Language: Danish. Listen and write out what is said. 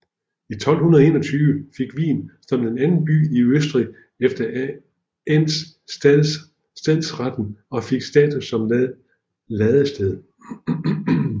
I 1221 fik Wien som den anden by i Østrig efter Enns stadsreten og fik status som ladested